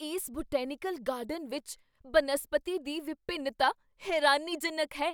ਇਸ botanical garden ਵਿੱਚ ਬਨਸਪਤੀ ਦੀ ਵਿਭਿੰਨਤਾ ਹੈਰਾਨੀਜਨਕ ਹੈ!